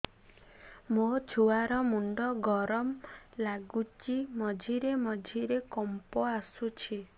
ମୋ ଛୁଆ ର ମୁଣ୍ଡ ଗରମ ଲାଗୁଚି ମଝିରେ ମଝିରେ କମ୍ପ ଆସୁଛି